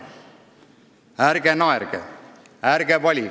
Ärge naerge ja ärge valige.